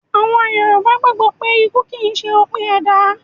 Àwọn Yorùbá gbàgbó pé ikú kìí ṣe òpin ẹ̀dá